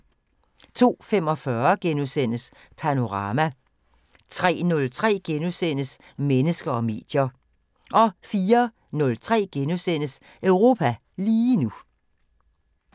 02:45: Panorama * 03:03: Mennesker og medier * 04:03: Europa lige nu *